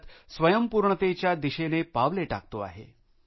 भारत स्वयंपूर्णतेच्या दिशेने पावले टाकतो आहे